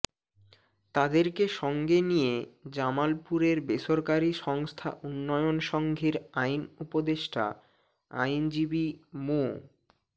তাদেরকে সঙ্গে নিয়ে জামালপুরের বেসরকারি সংস্থা উন্নয়ন সংঘের আইন উপদেষ্টা আইনজীবী মো